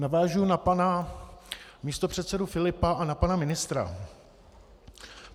Navážu na pana místopředsedu Filipa a na pana ministra.